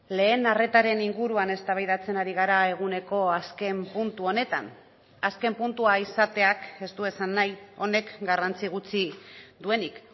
lehen arretaren inguruan eztabaidatzen ari gara eguneko azken puntu honetan azken puntua izateak ez du esan nahi honek garrantzi gutxi duenik